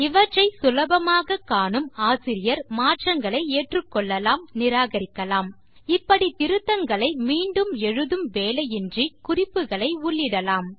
இவற்றை சுலபமாக காணும் ஆசிரியர் மாற்றங்களை ஏற்றுக்கொள்ளலாம் நிராகரிக்கலாம் இப்படி திருத்தங்களை மீண்டும் எழுதும் வேலையின்றி குறிப்புகளை உள்ளிடலாம்